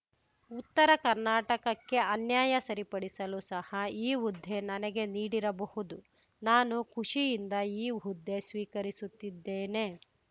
ಉತ್ತರ ಕರ್ನಾಟಕಕ್ಕೆ ಅನ್ಯಾಯ ಸರಿಪಡಿಸಲು ಸಹ ಈ ಹುದ್ದೆ ನನಗೆ ನೀಡಿರಬಹುದು ನಾನು ಖುಷಿಯಿಂದ ಈ ಹುದ್ದೆ ಸ್ವೀಕರಿಸುತ್ತಿದ್ದೇನೆ